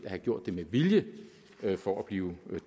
have gjort det med vilje for at blive